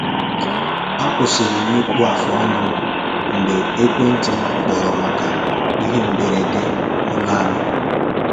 Akwụsịlị m ịkpụ afụ ọnụ m mgbe ekwenti m kpọrọ maka ihe mberede n’ụlọ anyị